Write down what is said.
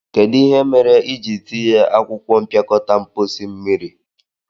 Kedu ihe kpatara ị ji tiye akwụkwọ mpịakọta mposi mmiri?